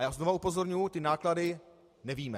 A já znovu upozorňuji, že náklady nevíme.